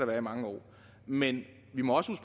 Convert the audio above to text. være i mange år men vi må også